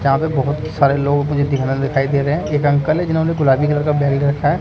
यहां पे बहोत सारे लोग मुझे दिखनल दिखाई दे रहे हैं एक अंकल हैं जिन्होंने गुलाबी कलर का बैग ले रखा है।